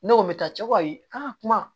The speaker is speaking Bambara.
Ne ko n bɛ taa cɛ koyi an ka kuma